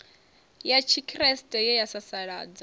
ya tshikriste ye ya sasaladza